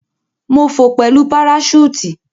Mo fò pẹlu paraṣúùtì.